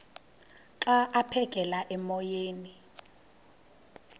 xa aphekela emoyeni